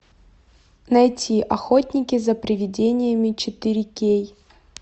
найти охотники за привидениями четыре кей